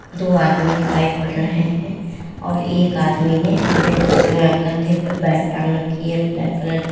दो आदमी दिखाई पड़ रहे हैं और एक आदमी ने अपने सेअ कंधे पे बैग टांग रखी है ब्लैक कलर की।